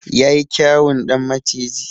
Yayi kyawun ɗan maciji.